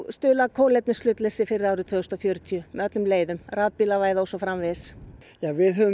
stuðla að kolefnishlutleysi fyrir árið tvö þúsund og fjörutíu með öllum leiðum rafbílavæða og svo framvegis við höfum